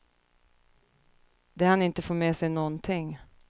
De hann inte få med sig någonting.